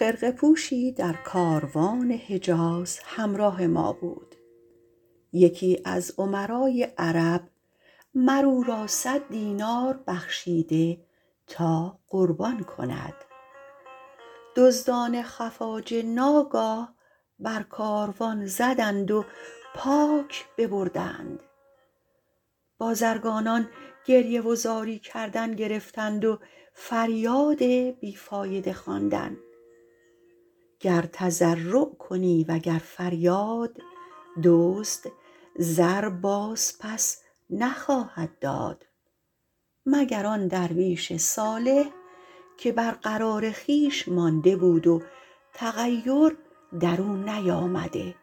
خرقه پوشی در کاروان حجاز همراه ما بود یکی از امرای عرب مر او را صد دینار بخشیده تا قربان کند دزدان خفاجه ناگاه بر کاروان زدند و پاک ببردند بازرگانان گریه و زاری کردن گرفتند و فریاد بی فایده خواندن گر تضرع کنی و گر فریاد دزد زر باز پس نخواهد داد مگر آن درویش صالح که بر قرار خویش مانده بود و تغیر در او نیامده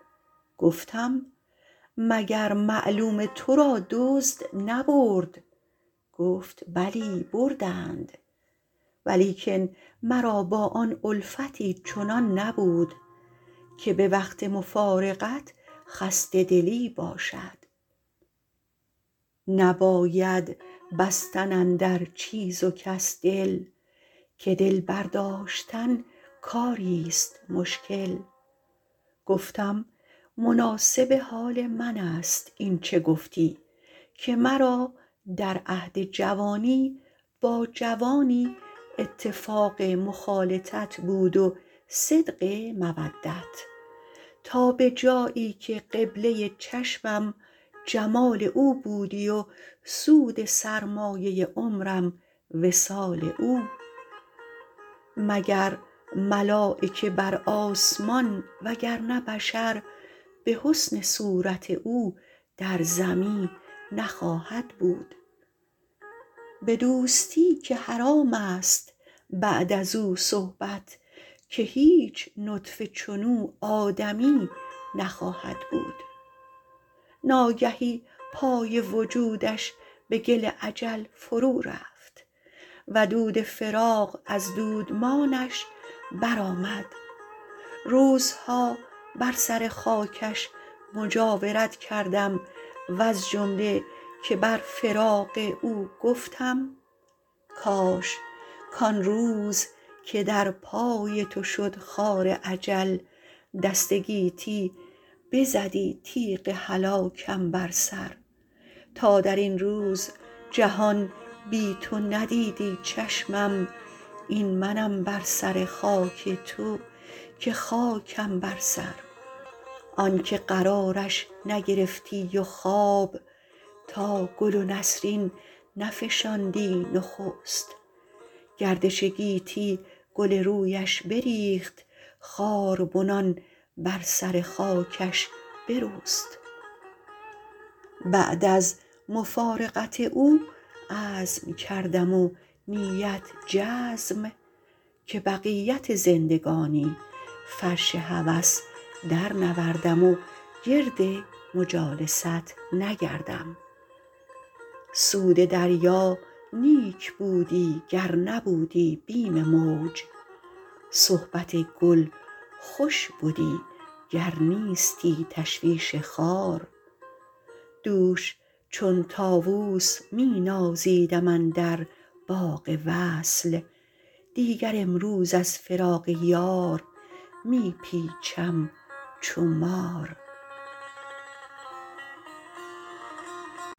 گفتم مگر معلوم تو را دزد نبرد گفت بلی بردند ولیکن مرا با آن الفتی چنان نبود که به وقت مفارقت خسته دلی باشد نباید بستن اندر چیز و کس دل که دل برداشتن کاری ست مشکل گفتم مناسب حال من است این چه گفتی که مرا در عهد جوانی با جوانی اتفاق مخالطت بود و صدق مودت تا به جایی که قبله چشمم جمال او بودی و سود سرمایه عمرم وصال او مگر ملایکه بر آسمان وگر نه بشر به حسن صورت او در زمی نخواهد بود به دوستی که حرام است بعد از او صحبت که هیچ نطفه چنو آدمی نخواهد بود ناگهی پای وجودش به گل اجل فرو رفت و دود فراق از دودمانش برآمد روزها بر سر خاکش مجاورت کردم وز جمله که بر فراق او گفتم کاش کآن روز که در پای تو شد خار اجل دست گیتی بزدی تیغ هلاکم بر سر تا در این روز جهان بی تو ندیدی چشمم این منم بر سر خاک تو که خاکم بر سر آن که قرارش نگرفتی و خواب تا گل و نسرین نفشاندی نخست گردش گیتی گل رویش بریخت خاربنان بر سر خاکش برست بعد از مفارقت او عزم کردم و نیت جزم که بقیت زندگانی فرش هوس درنوردم و گرد مجالست نگردم سود دریا نیک بودی گر نبودی بیم موج صحبت گل خوش بدی گر نیستی تشویش خار دوش چون طاووس می نازیدم اندر باغ وصل دیگر امروز از فراق یار می پیچم چو مار